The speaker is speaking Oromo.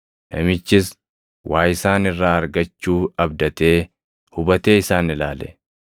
Namichis waa isaan irraa argachuu abdatee hubatee isaan ilaale.